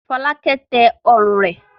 Fọ́lákẹ́ tẹ ọrùn rẹ̀.